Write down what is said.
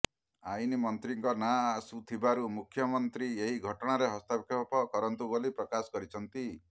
ଆଇନମନ୍ତ୍ରୀଙ୍କ ନାଁ ଆସୁଥିବାରୁ ମୁଖ୍ୟମନ୍ତ୍ରୀ ଏହି ଘଟଣାରେ ହସ୍ତକ୍ଷେପ କରନ୍ତୁ ବୋଲି ପ୍ରକାଶ କହିଛନ୍ତି